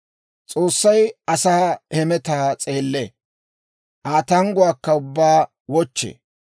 «S'oossay asaa hemetaa s'eellee; Aa tangguwaa ubbaakka wochchee.